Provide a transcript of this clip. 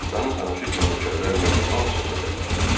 Çoxdanın tanışı kimi nökərlər mehriban söhbətə başladılar.